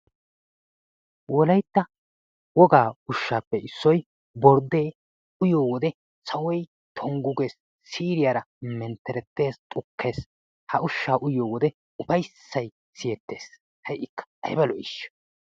Wolaytta wogaa ushshappe issoy borddee uyyiyo wode sawoy tonggu gees. Siiriya mentteretees, xukkees, ha ushsha uyyiyo wode ufayssay siyyettees, ha'ikka aybba lo'ishsha!